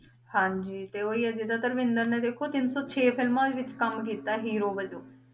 ਹਾਂਜੀ ਤੇ ਉਹ ਹੀ ਆ ਜਿੱਦਾਂ ਧਰਮਿੰਦਰ ਨੇ ਦੇਖੋ, ਤਿੰਨ ਸੌ ਛੇ ਫਿਲਮਾਂ ਵਿੱਚ ਕੰਮ ਕੀਤਾ ਹੀਰੋ ਵਜੋਂ।